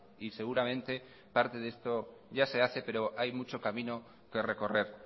y seguramente parte de esto ya se hace pero hay mucho camino que recorrer